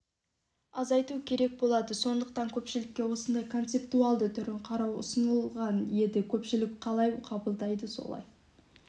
азайту керек болады сондықтан көпшілікке осындай концептуалды түрін қарау ұсынылған еді көпшілік қалай қабылдайды солай